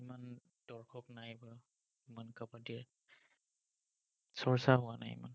কাবাদ্দীৰ চৰ্চা হোৱা নাই, ইমান।